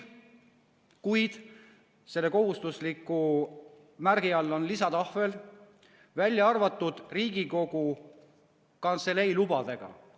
Kuid selle kohustusliku märgi all on lisatahvel "Välja arvatud Riigikogu Kantselei lubadega".